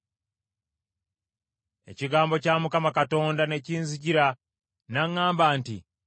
Ekigambo kya Mukama Katonda ne kinzijira n’aŋŋamba nti,